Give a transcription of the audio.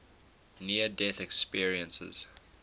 near death experiences